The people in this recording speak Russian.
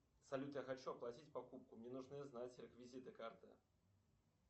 салют я хочу оплатить покупку мне нужно знать реквизиты карты